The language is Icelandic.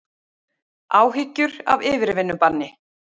Áhyggjur af yfirvinnubanni